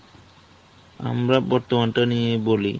আমরা বর্তমানটা নিয়ে বলি